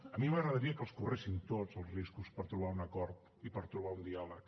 a mi m’agradaria que els correguessin tots els riscos per trobar un acord i per trobar un diàleg